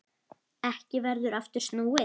Ekki verður aftur snúið.